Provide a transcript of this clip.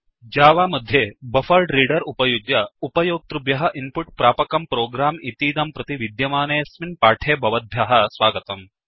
Java मध्ये BufferedReader उपयुज्य उप्योक्तृभ्यः इन्पुट् प्रापकं प्रोग्राम् इतीदं प्रति विद्यमनेऽस्मिन् पाठे भवद्भ्यः स्वागतम्